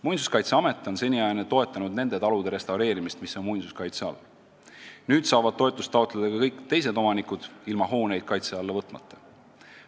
Muinsuskaitseamet on seniajani toetanud nende talude restaureerimist, mis on muinsuskaitse all, nüüd saavad toetust taotleda ka kõik teised omanikud ilma hooneid kaitse alla võtmata.